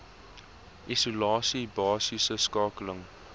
isolasie basiese skakeling